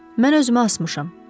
Mən özümü asmışam.